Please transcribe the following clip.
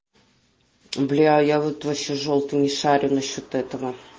бляя я вот вообще жёлтый вообще не шарю насчёт этого